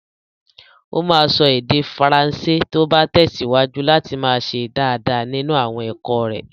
O máa sọ èdè Faransé tí ó bá tẹ̀síwájú láti máa ṣe dáadáa nínú àwọn ẹ̀kọ́ rẹ̀.